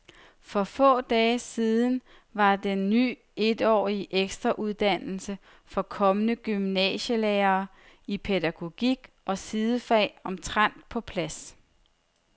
For få dage siden var den ny etårige ekstrauddannelse for kommende gymnasielærere i pædagogik og sidefag omtrent på plads.